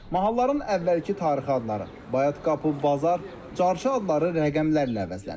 Mahalların əvvəlki tarixi adları: Bayatqapı, Bazar, Carçı adları rəqəmlərlə əvəzlənib.